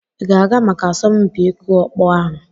Ị ga-aga maka asọmpi ịkụ ọkpọ ahụ?